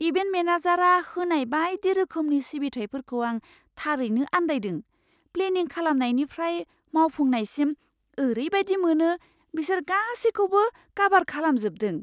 Event मेनेजारआ होनाय बायदि रोखोमनि सिबिथाइफोरखौ आं थारैनो आन्दायदों प्लेनिं खालामनायनिफ्राय मावफुंनायसिम, ओरैबादि मोनो बिसोर गासैखौबो काभार खालामजोबदों!